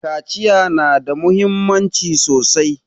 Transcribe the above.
Kaciya na da muhimmanci sosai